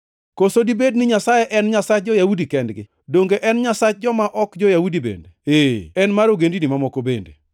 Koso dibed ni Nyasaye en Nyasach jo-Yahudi kendgi? Donge en Nyasach joma ok jo-Yahudi bende? Ee, en mar ogendini mamoko bende,